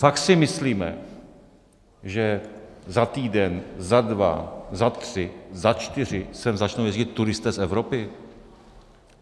Fakt si myslíme, že za týden, za dva, za tři, za čtyři sem začnou jezdit turisté z Evropy?